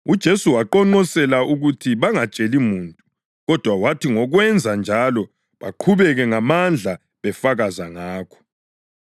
UJesu wabaqonqosela ukuthi bangatsheli muntu. Kodwa wathi ngokwenza njalo baqhubeka ngamandla befakaza ngakho.